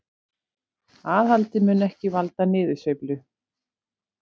Aðhaldið mun ekki valda niðursveiflu